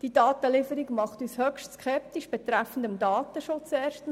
Diese Datenlieferung macht uns erstens bezüglich des Datenschutzes höchst skeptisch.